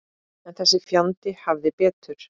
En þessi fjandi hafði betur.